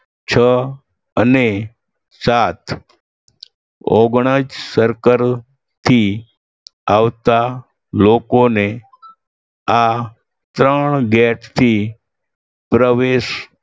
છ અને સાત ઓગણજ circle થી આવતા લોકોને આ ત્રણ gate થી પ્રવેશ